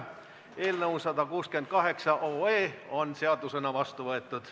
Eelnõu 168 on seadusena vastu võetud.